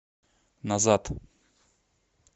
назад